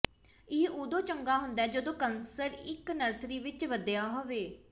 ਇਹ ਉਦੋਂ ਚੰਗਾ ਹੁੰਦਾ ਹੈ ਜਦੋਂ ਕਨਸਰ ਇੱਕ ਨਰਸਰੀ ਵਿੱਚ ਵਧਿਆ ਹੋਵੇ